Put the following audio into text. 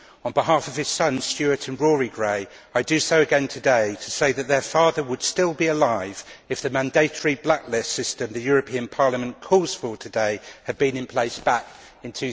On behalf of his sons, Stuart and Rory Gray, I do so again today, to say that their father would still be alive if the mandatory blacklist system the European Parliament calls for today had been in place back in